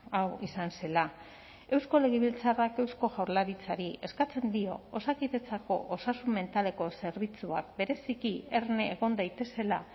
hau izan zela eusko legebiltzarrak eusko jaurlaritzari eskatzen dio osakidetzako osasun mentaleko zerbitzuak bereziki erne egon daitezela